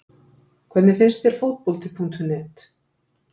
Hvernig finnst þér Fótbolti.net?